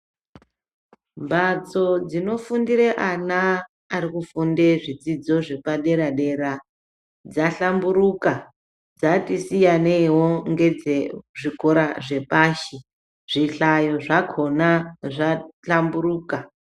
Mhatso dzinofundire ana ari kufunde zvidzidzo zvepadera dera dzahlamburuka dzati siyaneiwo ngedze zvikora chepasho zvihlayo zvakhona zvahlamburuka.